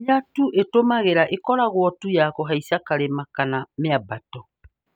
Hinya tu ĩtumagira ikoragwo tu ya kuhaica karima kana mĩambato